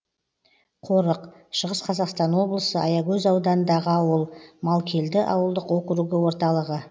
қорық шығыс қазақстан облысы аягөз ауданындағы ауыл малкелді ауылдық округі орталығы